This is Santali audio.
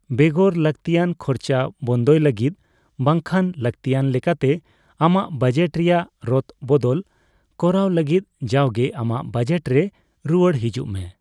ᱵᱮᱜᱚᱨ ᱞᱟᱹᱠᱛᱤᱭᱟᱱ ᱠᱷᱚᱨᱪᱟ ᱵᱚᱱᱫᱚᱭ ᱞᱟᱹᱜᱤᱫ ᱵᱟᱝᱠᱷᱟᱱ ᱞᱟᱹᱠᱛᱤᱭᱟᱱ ᱞᱮᱠᱟᱛᱮ ᱟᱢᱟᱜ ᱵᱟᱡᱮᱴ ᱨᱮᱭᱟᱜ ᱨᱚᱫ ᱵᱚᱫᱚᱞ ᱠᱚᱨᱟᱣ ᱞᱟᱹᱜᱤᱫ ᱡᱟᱣᱜᱮ ᱟᱢᱟᱜ ᱵᱟᱡᱮᱴ ᱨᱮ ᱨᱩᱣᱟᱹᱲ ᱦᱮᱡᱩᱜ ᱢᱮ ᱾